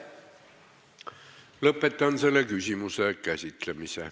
Lõpetan selle küsimuse käsitlemise.